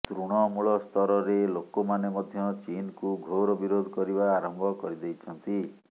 ତୃଣମୂଳସ୍ତରରେ ଲୋକମାନେ ମଧ୍ୟ ଚୀନକୁ ଘୋର ବିରୋଧ କରିବା ଆରମ୍ଭ କରିଦେଇଛନ୍ତି